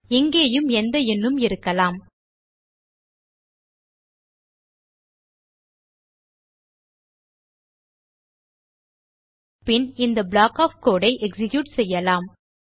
இங்கேயும் எந்த எண்ணும் இருக்கலாம் பின் இந்த ப்ளாக் ஒஃப் கோடு ஐ எக்ஸிக்யூட் செய்யலாம்